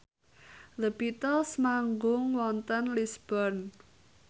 The Beatles manggung wonten Lisburn